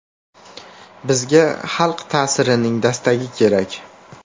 Bizga xalq ta’sirining dastagi kerak.